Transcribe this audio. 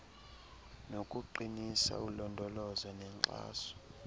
nokuqinisekisa ulondolozo nenkxaso